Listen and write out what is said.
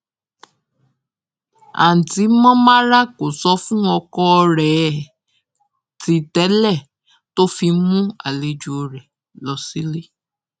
àǹtí monmara kò sọ fún ọkọ ẹ ti tẹlẹ tó fi mú àlejò rẹ lọ sílé